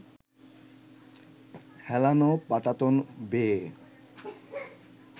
হেলানো পাটাতন বেয়ে